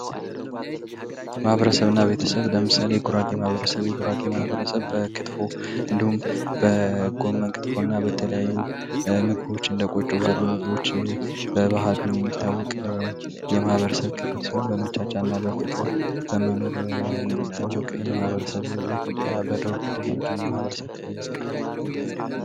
ማህበረሰብ እና ቤተሰብ ለምሳሌ የጉራጌ ማህበረሰብ:- የጉራጌ ማህበረሰብ በክትፎ እንዲሁም በጎመን ክትፎ በተለያዩ ምግቦች እንደ ቆጮ ባሉ ምግቦች በባህሉ የሚታወቅ የማህበረሰብ ክፍል ሲሆን በደስታና በፍቅር የሚታወቅ የማህበረሰብ በኢትዮጵያ በደቡብ ክልል የሚገኝ የማህበረሰብ ክፍል ነዉ።